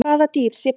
Hvaða dýr sér best?